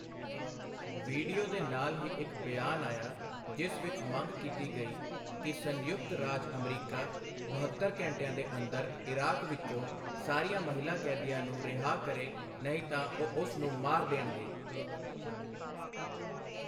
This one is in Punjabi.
ਵੀਡੀਓ ਦੇ ਨਾਲ ਹੀ ਇੱਕ ਬਿਆਨ ਆਇਆ ਜਿਸ ਵਿੱਚ ਮੰਗ ਕੀਤੀ ਗਈ ਕਿ ਸੰਯੁਕਤ ਰਾਜ ਅਮਰੀਕਾ ਬਹੱਤਰ ਘੰਟਿਆਂ ਦੇ ਅੰਦਰ ਇਰਾਕ ਵਿੱਚੋਂ ਸਾਰੀਆਂ ਮਹਿਲਾ ਕੈਦੀਆਂ ਨੂੰ ਰਿਹਾਅ ਕਰੇ ਨਹੀਂ ਤਾਂ ਉਹ ਉਸ ਨੂੰ ਮਾਰ ਦੇਣਗੇ।